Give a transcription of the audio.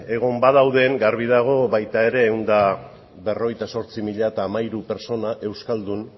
egon badauden garbi dago baita ere ehun eta berrogeita zortzi mila hamairu pertsona euskaldun